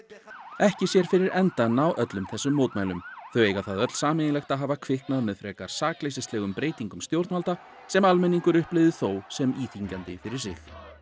ekki sér fyrir endann á öllum þessum mótmælum þau eiga það sameiginlegt að hafa kviknað með frekar sakleysislegum breytingum stjórnvalda sem almenningur upplifði þó sem íþyngjandi fyrir sig